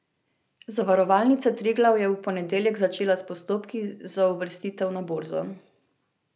Zavarovalnica Triglav je v ponedeljek začela s postopki za uvrstitev na borzo.